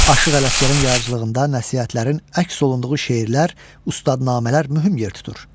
Aşıq Ələsgərin yaradıcılığında nəsihətlərin əks olunduğu şeirlər, ustadnamələr mühüm yer tutur.